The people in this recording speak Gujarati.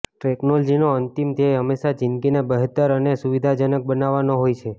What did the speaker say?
ટેક્નોલોજીનો અંતિમ ધ્યેય હંમેશા જિંદગીને બહેતર અને સુવિધાજનક બનાવવાનો હોય છે